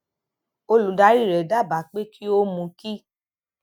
olùdarí rẹ dábàá pé kí ó mú kí